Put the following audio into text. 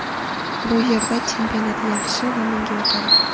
Bu yerda chempionat yaxshi va menga yoqadi.